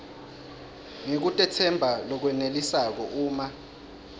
ngekutetsemba lokwenelisako uma